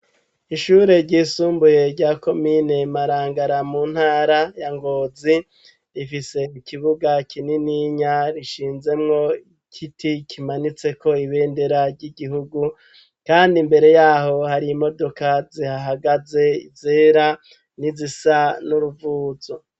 Ishure ryisumbuye rya Komine Marangara mu ntara ya Ngozi, rifise ukibuga kinininya gishinzemwo igiti kimanitseko ibendera ry'igihugu, kandi imbere yaho hari imodoka zihahagaze zera n'izisa n'uruvuzo.